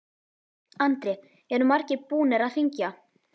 Andri: Eru margir búnir að hringja?